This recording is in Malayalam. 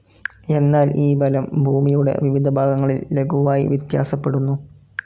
എന്നാൽ ഈ ബലം ഭൂമിയുടെ വിവിധഭാഗങ്ങളിൽ ലഘുവായി വ്യത്യാസപ്പെടുന്നു.